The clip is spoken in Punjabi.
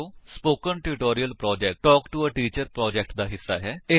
spoken tutorial project talk to a teacher project ਦਾ ਹਿੱਸਾ ਹੈ